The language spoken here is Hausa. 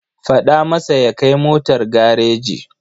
Faɗa masa ya kai motar gareji.